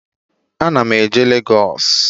Ana m eje Legos